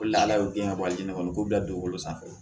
O la ala y'o kɛ walijinɛ kɔnɔ k'o bila dugukolo sanfɛ